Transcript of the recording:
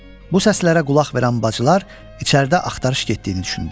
Bu səslərə qulaq verən bacılar içəridə axtarış getdiyini düşündülər.